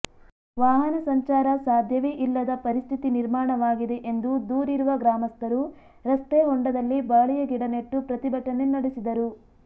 ವಾಹನ ಸಂಚಾರ ಸಾಧ್ಯವೇ ಇಲ್ಲದ ಪರಿಸ್ಥಿತಿ ನಿರ್ಮಾಣವಾಗಿದೆ ಎಂದು ದೂರಿರುವ ಗ್ರಾಮಸ್ಥರು ರಸ್ತೆಹೊಂಡದಲ್ಲಿ ಬಾಳೆಯ ಗಿಡ ನೆಟ್ಟು ಪ್ರತಿಭಟನೆ ನಡೆಸಿದರು